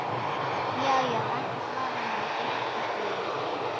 Já já, ekkert vafamál, fullyrti ég.